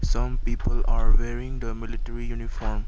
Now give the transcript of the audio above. some people are wearing the military uniform.